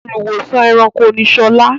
Olùwósàn-ẹranko ni Sola.